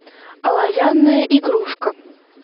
оловянная игрушка